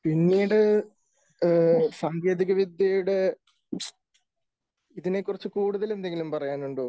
പിന്നീട് സാങ്കേതികവിദ്യയുടെ, ഇതിനെക്കുറിച്ച് കൂടുതൽ എന്തെങ്കിലും പറയാനുണ്ടോ?